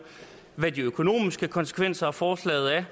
hvad de økonomiske konsekvenser af forslaget er